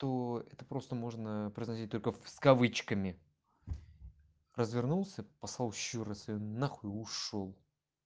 то это просто можно произносить только с кавычками развернулся пслал ещё раз её на хуй и ушёл